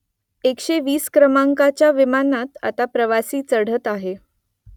एकशे वीस क्रमांकाच्या विमानात आता प्रवासी चढत आहे